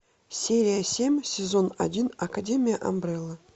серия семь сезон один академия амбрелла